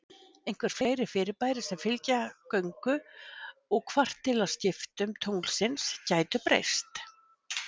Einhver fleiri fyrirbæri sem fylgja göngu og kvartilaskiptum tunglsins gætu breyst.